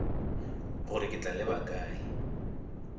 gore ke tla leba kae